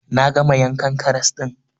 Na gama yankan karas ɗin